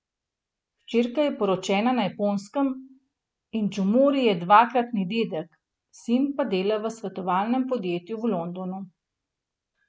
Hčerka je poročena na Japonskem in Džomori je dvakratni dedek, sin pa dela v svetovalnem podjetju v Londonu.